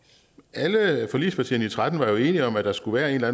alle forligspartierne i tretten var jo enige om at der skulle være en eller